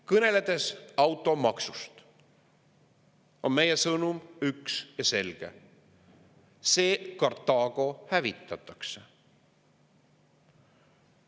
Kõneledes automaksust, on meie sõnum üks ja selge: see Kartaago hävitatakse.